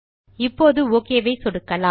இப்போது ஒக் ஐ சொடுக்கலாம்